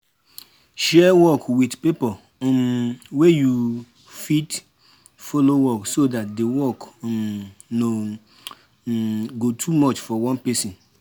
share work with pipo um wey you fit follow work so dat di work um no um go too much for one person